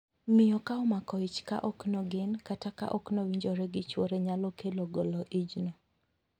Miyo ka omako ich ka ok nogen, kata ka ok owinjore gi chwore nyalo kelo golo ichno.